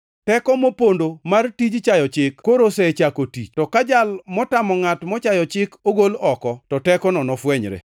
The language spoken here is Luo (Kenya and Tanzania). Teko mopondo mar tij chayo chik koro osechako tich. To ka jal motamo ngʼat mochayo chik ogol oko, to tekono nofwenyre.